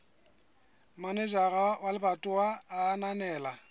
manejara wa lebatowa a ananela